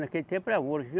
Naquele tempo era ouro.